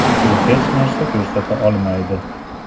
U hech narsa ko‘rsata olmaydi.